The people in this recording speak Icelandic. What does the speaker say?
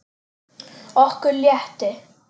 Okkur létti.